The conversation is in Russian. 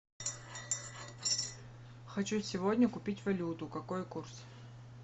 хочу сегодня купить валюту какой курс